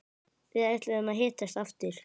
Við ætluðum að hittast aftur.